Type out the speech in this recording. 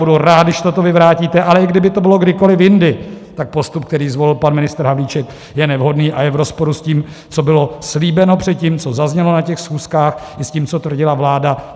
Budu rád, když toto vyvrátíte, ale i kdyby to bylo kdykoliv jindy, tak postup, který zvolil pan ministr Havlíček, je nevhodný a je v rozporu s tím, co bylo slíbeno předtím, co zaznělo na těch schůzkách, i s tím, co tvrdila vláda.